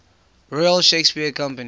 royal shakespeare company